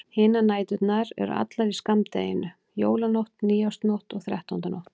Hinar næturnar eru allar í skammdeginu: Jólanótt, nýársnótt og þrettándanótt.